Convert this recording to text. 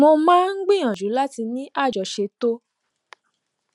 mo máa ń gbìyànjú láti ní àjọṣe tó